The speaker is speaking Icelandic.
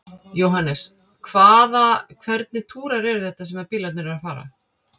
Jóhannes: Hvaða, hvernig túrar eru þetta sem að bílarnir eru að fara?